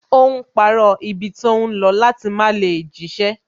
Ó ń parọ́ ibi tó ń lọ láti má lè jíṣẹ́